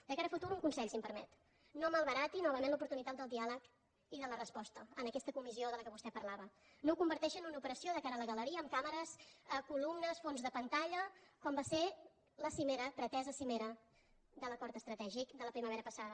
de cara al futur un consell si em permet no malbarati novament l’oportunitat del diàleg i de la resposta en aquesta comissió de què vostè parlava no ho converteixi en una operació de cara a la galeria amb càmeres columnes fons de pantalla com va ser la cimera pretesa cimera de l’acord estratègic de la primavera passada